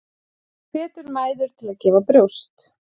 Hvetur mæður til að gefa brjóst